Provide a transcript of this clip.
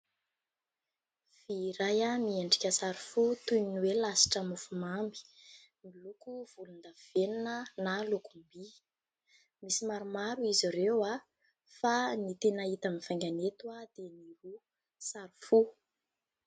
Vy iray miendrika sary fo toy ny hoe lasitra mofo mamy miloko volondavenina na lokom-by. Misy maromaro izy ireo fa ny tena hita mivaingana eto dia ny sary fo.